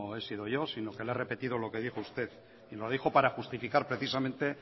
he sido yo sino que le he repetido lo que dijo usted y lo dijo para justificar precisamente